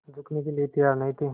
झुकने के लिए तैयार नहीं थे